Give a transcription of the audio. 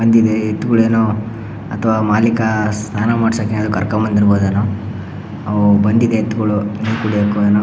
ಬಂದಿದೆ ಎತ್ತುಗಳೇನು ಅಥವಾ ಮಾಲೀಕ ಸ್ನಾನ ಮಾಡಿಸೋಕೆ ಕರ್ಕೊಂಡು ಬಂದಿರಬಹುದೇನೋ ಅವು ಬಂದಿದೆ ಎತ್ತುಗಳು ನೀರು ಕುಡಿಯೋಕೆ.